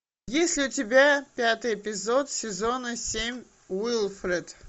есть ли у тебя пятый эпизод сезона семь уилфред